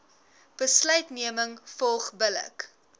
besluitneming volg billik